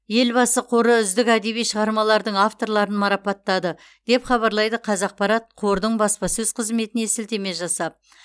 елбасы қоры үздік әдеби шығармалардың авторларын марапаттады деп хабарлайды қазақпарат қордың баспасөз қызметіне сілтеме жасап